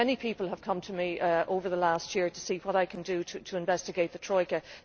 Many people have come to me over the last year to see what I can do to investigate the Troika.